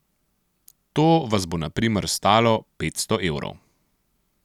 To vas bo na primer stalo petsto evrov.